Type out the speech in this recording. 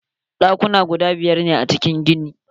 Ɗakuna guda biyar ne a cikin ginin.